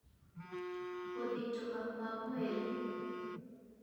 gũthitũka kwa mwĩrĩ (Shock)